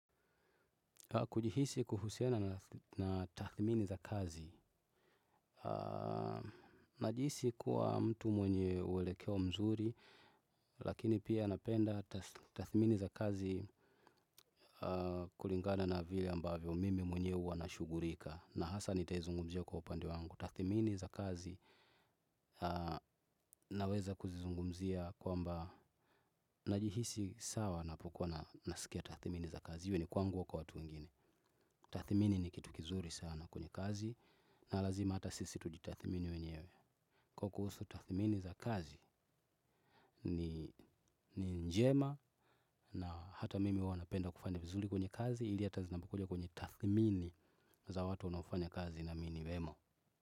Kujihisi kuhusiana na tathimini za kazi. Najiisi kuwa mtu mwenye uwelekeo mzuri, lakini pia napenda tathmini za kazi kulingana na vile ambavyo mimi mwenyewe uwa na shugulika. Na hasa nitaizungumzia kwa upande wangu. Tathimini za kazi naweza kuzizungumzia kwamba najihisi sawa napukuwa na nasikia tathimini za kazi. Iwe ni kwangu au kwa watu wengine. Tathimini ni kitu kizuri sana kwenye kazi. Na lazima hata sisi tuji tathimini wenyewe. Kwa kuhusu tathimini za kazi ni njema. Na hata mimi huwa napenda kufanya vizuli kwenye kazi. Ili hata zinapokuja kwenye tathimini za watu wanaofanya kazi nami niwemo.